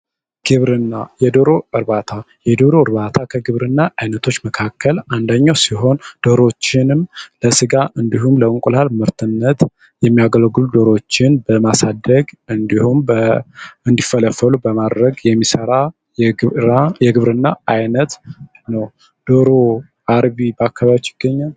ግብርና የዶሮ እርባታ የዶሮ እርባታ ከግብርና አይነቶች መካከል አንዳኛው ሲሆን ዶሮችንም ለሥጋ እንዲሁም ለእንቁላል ምርትነት የሚያገልግሉ ዶሮችን በማሳደግ እንዲሁም እንዲፈለፈሉ በማድረግ የሚሠራ የግብርና ዓይነት ነው። ዶሮ አርቢ በአካባቢያችሁ ይገኛል?